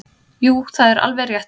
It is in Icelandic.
Jú það er alveg rétt.